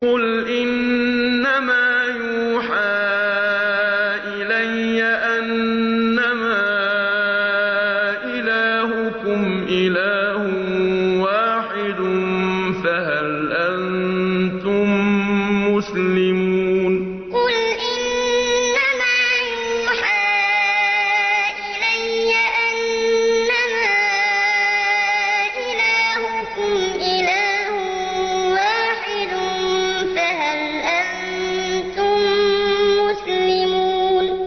قُلْ إِنَّمَا يُوحَىٰ إِلَيَّ أَنَّمَا إِلَٰهُكُمْ إِلَٰهٌ وَاحِدٌ ۖ فَهَلْ أَنتُم مُّسْلِمُونَ قُلْ إِنَّمَا يُوحَىٰ إِلَيَّ أَنَّمَا إِلَٰهُكُمْ إِلَٰهٌ وَاحِدٌ ۖ فَهَلْ أَنتُم مُّسْلِمُونَ